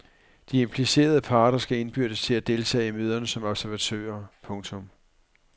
De implicerede parter skal indbydes til at deltage i møderne som observatører. punktum